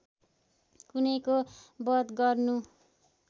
कुनैको वध गर्नु